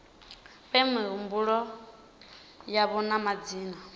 fhe mihumbulo yavho na madzina